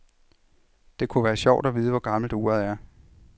Det kunne være sjovt at vide, hvor gammelt uret er.